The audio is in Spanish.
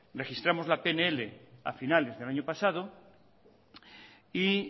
registramos la pnl a finales del año pasado y